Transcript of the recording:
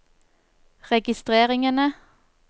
registreringene